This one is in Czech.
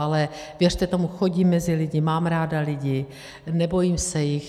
Ale věřte tomu, chodím mezi lidi, mám ráda lidi, nebojím se jich.